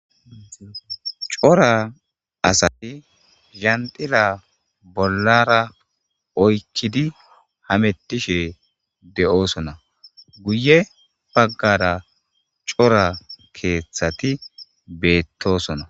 Cora asati jaxila bolla oykkidi hamettishe de7osona guye baggara cora keeththati beettosona.